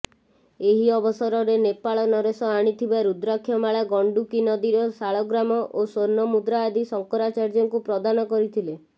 ଏହି ଅବସରରେ ନେପାଳ ନରେଶ ଆଣିଥିବା ରୁଦ୍ରାକ୍ଷମାଳା ଗଣ୍ଡୁକୀନଦୀର ଶାଳଗ୍ରାମ ଓ ସ୍ୱର୍ଣ୍ଣମୁଦ୍ରା ଆଦି ଶଙ୍କରାଚାର୍ଯ୍ୟଙ୍କୁ ପ୍ରଦାନ କରିଥିଲେ